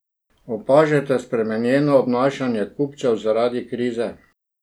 Opažate spremenjeno obnašanje kupcev zaradi krize?